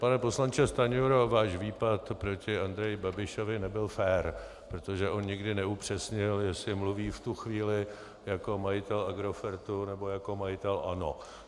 Pane poslanče Stanjuro, váš výpad proti Andreji Babišovi nebyl fér, protože on nikdy neupřesnil, jestli mluví v tu chvíli jako majitel Agrofertu, nebo jako majitel ANO.